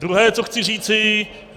Druhé, co chci říci.